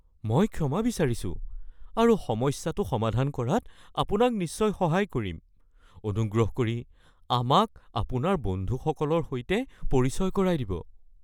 মই ক্ষমা বিচাৰিছো আৰু সমস্যাটো সমাধান কৰাত আপোনাক নিশ্চয় সহায় কৰিম। অনুগ্ৰহ কৰি আমাক আপোনাৰ বন্ধুসকলৰ সৈতে পৰিচয় কৰাই দিব (জোতা বিক্ৰেতা) (প্ৰসংগটো এটা বাক্য হিচাপে স্পষ্ট নহয়)